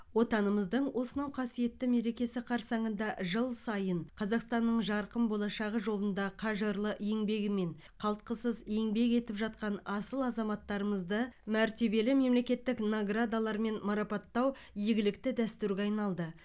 отанымыздың осынау қасиетті мерекесі қарсаңында жыл сайын қазақстанның жарқын болашағы жолында қажырлы еңбегімен қалтқысыз еңбек етіп жатқан асыл азаматтарымызды мәртебелі мемлекеттік наградалармен марапаттау игілікті дәстүрге айналды